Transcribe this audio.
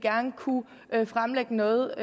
kunne fremlægge noget